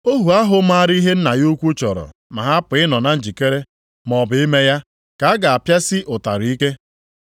“Ohu ahụ maara ihe nna ya ukwu chọrọ ma hapụ ịnọ na njikere, maọbụ ime ya, ka a ga-apịasi ụtarị ike.